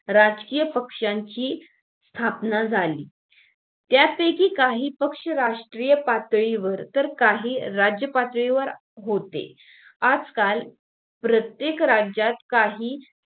राजकीय पक्षांची स्थापना झाली त्यापैकी काही पक्ष राष्ट्रीय पातळीवर तर काही राज्य पातळीवर होते आजकाल प्रत्येक राज्यात काही